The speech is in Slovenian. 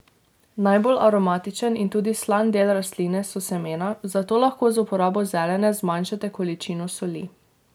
Najbolj aromatičen in tudi slan del rastline so semena, zato lahko z uporabo zelene zmanjšate količino soli.